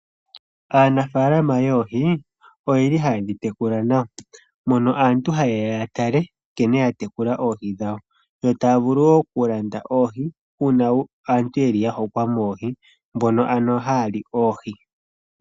Aanafaalama yoohi oyeli hayedhi tekula nawa mono aantu hayeya yatale nkene ya tekula oohi dhawo yo taya vulu woo okulanda oohi uuna aantu yeli ya hokwa moohi mbono haya li oohi.